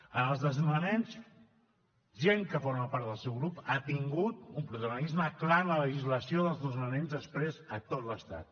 en els desnonaments gent que forma part del seu grup ha tingut un protagonisme clar en la legislació dels desnonaments després a tot l’estat